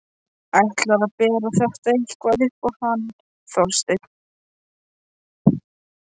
Ætlarðu að bera þetta eitthvað upp á hann Þorstein?